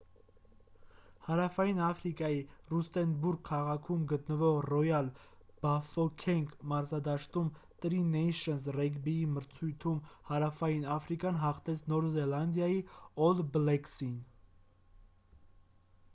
հարավային աֆրիկայի ռուստենբուրգ քաղաքում գտնվող ռոյալ բաֆոքենգ մարզադաշտում տրի նեյշնս ռեգբիի մրցությունում հարավային աֆրիկան հաղթեց նոր զելանդիայի օլ բլեքսին